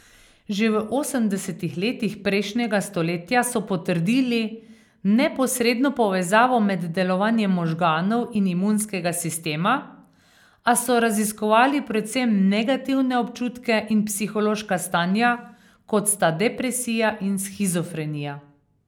Že v osemdesetih letih prejšnjega stoletja so potrdili neposredno povezavo med delovanjem možganov in imunskega sistema, a so raziskovali predvsem negativne občutke in psihološka stanja, kot sta depresija in shizofrenija.